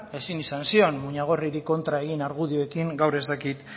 ezin izan zion muñagorriri kontra egin argudioekin gaur ez dakit